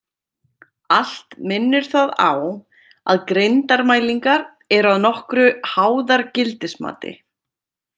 Allt minnir það á að greindarmælingar eru að nokkru háðar gildismati.